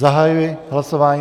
Zahajuji hlasování.